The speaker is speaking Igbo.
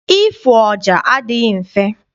Ịfụ ọja adịghị mfe.